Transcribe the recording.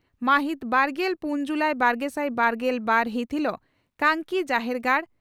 ᱢᱟᱹᱦᱤᱛ ᱵᱟᱨᱜᱮᱞ ᱯᱩᱱ ᱡᱩᱞᱟᱤ ᱵᱟᱨᱜᱮᱥᱟᱭ ᱵᱟᱨᱜᱮᱞ ᱵᱟᱨ ᱦᱤᱛ ᱦᱤᱞᱚᱜ ᱠᱟᱝᱠᱤ ᱡᱟᱦᱮᱨᱜᱟᱲ